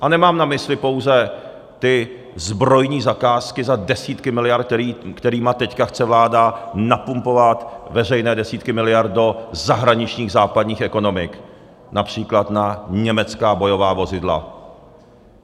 A nemám na mysli pouze ty zbrojní zakázky za desítky miliard, kterými teď chce vláda napumpovat veřejné desítky miliard do zahraničních západních ekonomik, například na německá bojová vozidla.